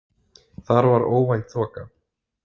Þar var óvænt þoka.